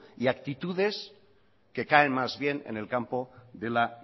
y actitudes que caen más bien en el campo de la